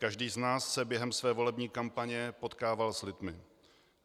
Každý z nás se během své volební kampaně potkával s lidmi.